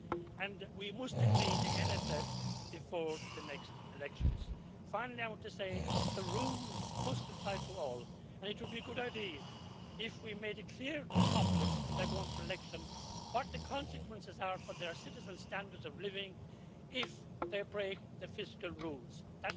And we must agree the MFF before the next elections. Finally, I want to say that the rules must apply to all, and it would be a good idea if we made it clear to populists when they are going for election what the consequences are for their citizens' standards of living if they break the fiscal rules. That might help to fight populism.